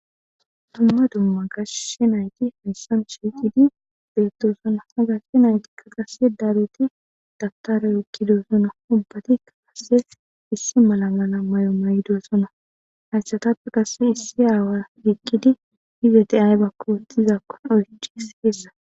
Duma duma gashe nayti haysan shiqidi betosona ha gashe naytika qase dalgid dabtare oyqidosona ubatika issoy issi mala mala mayo maydosona haysatape qase issi away eqidi izeti aybako otizakoka oychishe dees.